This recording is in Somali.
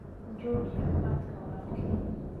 Jooji cabaadka walaalkay.